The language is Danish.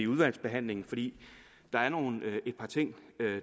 udvalgsbehandlingen fordi der er et par ting